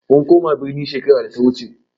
Mun koma birni shekarar da ta wuce.